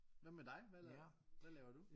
Hvad med dig hvad laver hvad laver du?